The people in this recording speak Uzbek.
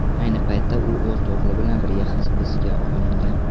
Ayni paytda u o‘z o‘g‘li bilan birga hibsga olingan.